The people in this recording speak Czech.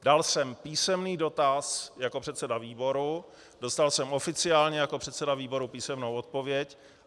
Dal jsem písemný dotaz jako předseda výboru, dostal jsem oficiálně jako předseda výboru písemnou odpověď.